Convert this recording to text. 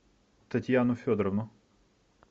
татьяну федоровну